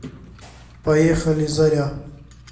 поехали заря